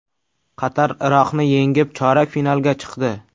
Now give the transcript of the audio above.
Qatar Iroqni yengib, chorak finalga chiqdi .